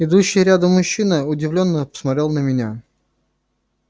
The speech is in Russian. идущий рядом мужчина удивлённо посмотрел на меня